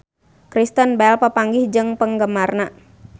Kristen Bell papanggih jeung penggemarna